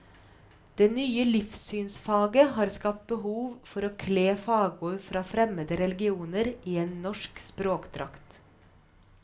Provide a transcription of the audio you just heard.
Det nye livssynsfaget har skapt behov for å kle fagord fra fremmede religioner i en norsk språkdrakt.